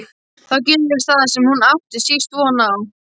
Þá gerist það sem hún átti síst von á.